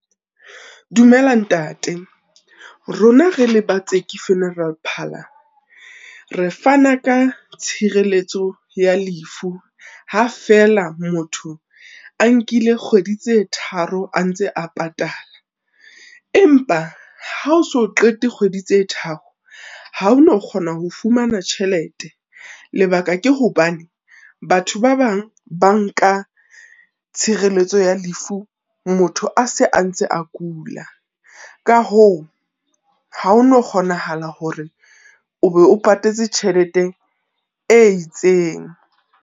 Dumela Ntate, rona re le ba Tseke Funeral Parlour, re fana ka tshireletso ya lefu, ha fela motho a nkile kgwedi tse tharo a ntse a patala, empa ha o so qete kgwedi tse tharo, ha o no kgona ho fumana tjhelete. Lebaka ke hobane, batho ba bang ba nka tshireletso ya lefu motho a se a ntse a kula, ka hoo ha ho no kgonahala hore o be o patetse tjhelete e itseng